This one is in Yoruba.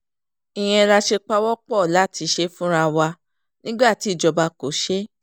ìyẹn la ṣe pawọ́-pọ̀ láti ṣe é fúnra wa nígbà tí ìjọba kò ṣe é